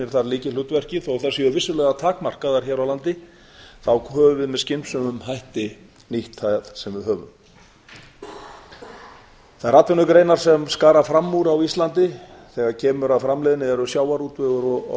þar lykilhlutverki þó þær séu vissulega takmarkaðar hér á landi þá höfum við með skynsömum hætti nýtt þær sem við höfum þær atvinnugreinar sem skara fram úr á íslandi þegar kemur að framleiðni eru sjávarútvegur og